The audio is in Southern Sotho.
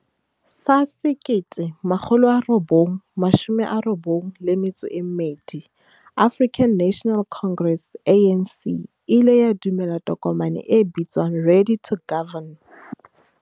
sa 1992, African National Congress, ANC, e ile ya dumela tokomane e bitswang 'Ready to Govern'.